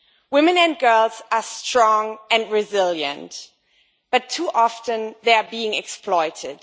Women and girls are strong and resilient, but too often they are being exploited.